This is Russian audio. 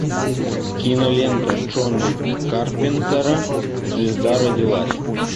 кинолента джона карпентера звезда родилась